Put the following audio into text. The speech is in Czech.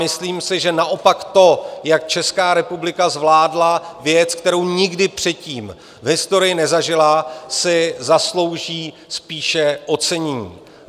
Myslím si, že naopak to, jak Česká republika zvládla věc, kterou nikdy předtím v historii nezažila, si zaslouží spíše ocenění.